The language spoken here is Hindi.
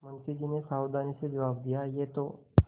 मुंशी जी ने सावधानी से जवाब दियायह तो